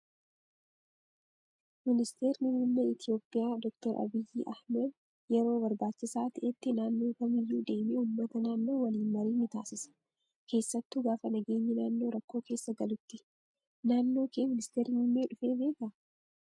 Ministeerri muummee Itoophiyaa doktar Abiyyi Ahmad yeroo barbaachisaa ta'etti naannoo kamiyyuu deemee uummata naannoo waliin marii ni taasisa. Keessattuu gaafa nageenyi naannoo rakkoo keessa galutti. Naannoo kee ministeerri muummee dhufee beekaa?